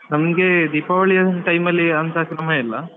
ನಮ್ಗೆ ದೀಪಾವಳಿ time ಅಲ್ಲಿ ಅಂತ ಕ್ರಮ ಇಲ್ಲ.